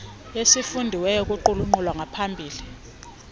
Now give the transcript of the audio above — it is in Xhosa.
esifundiweyo kuqulunqo lwangaphambili